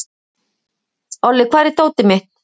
Olli, hvar er dótið mitt?